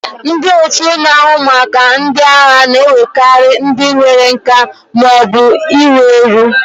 Ndị otu na-ahụ maka ndị agha na-ewekarị ndị nwere nka ma ọ bụ iru eru.